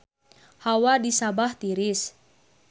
Hawa di Sabah tiris